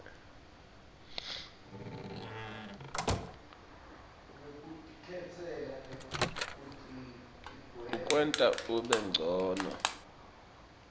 kuwenta ube ncono